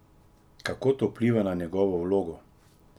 Kako to vpliva na njegovo vlogo?